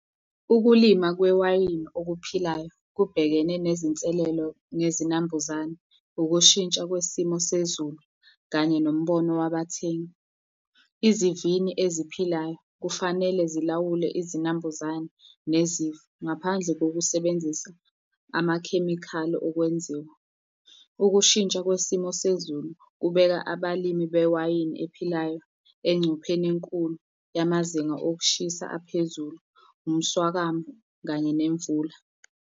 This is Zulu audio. Ukulima kwewayini okuphilayo kubhekene nezinselelo nezinambuzane, ukushintsha kwisimo sezulu, kanye nombono wabathengi. Izivini eziphilayo kufanele zilawule izinambuzane nezifo ngaphandle kokusebenzisa amakhemikhali okwenziwa. Ukushintsha kwesimo sezulu kubeka abalimi bewayini ephilayo engcupheni enkulu yamazinga okushisa aphezulu, umswakamo kanye nemvula.